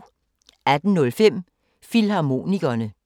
18:05: Filmharmonikerne